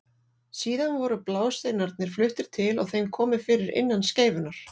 Síðar voru blásteinarnir fluttir til og þeim komið fyrir innan skeifunnar.